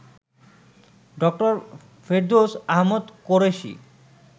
ড. ফেরদৌস আহমদ কোরেশী